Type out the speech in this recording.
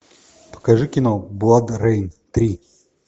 покажи кино бладрейн три